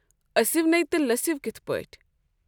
أسِو نہٕ تہٕ لٔسِو کِٔتھ پٲٹھۍ۔